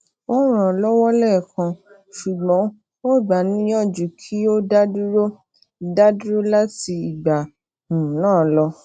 o ran an lowo lẹẹkan ṣugbọn o gba a niyaju ki o daduro daduro lati igba um naa lọ